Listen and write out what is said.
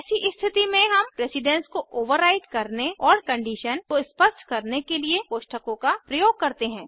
ऐसी स्थिति में हम प्रेसिडन्स को ओवरराईट करने और कंडीशन को स्पष्ट करने के लिए कोष्ठकों का प्रयोग करते हैं